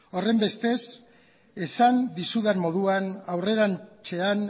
horren bestez esan dizudan moduan aurrerantzean